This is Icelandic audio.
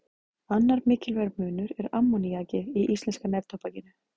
Annar mikilvægur munur er ammoníakið í íslenska neftóbakinu.